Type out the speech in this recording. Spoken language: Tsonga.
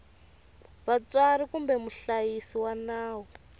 vatswari kumbe muhlayisi wa nawu